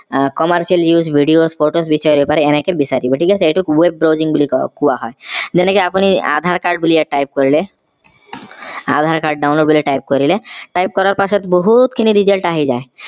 আহ commercial news videos photos বিচাৰিব পাৰে এনেকে বিচাৰিব ঠিক আছে এইটোক web browsing বুলি কয় কোৱা হয় যেনেকে আপুনি ইয়াত aadhaar card বুলি ইয়াত type কৰিলে aadhaar card download বুলি type কৰিলে type কৰাৰ পিছত বহুত খিনি result আহি যায়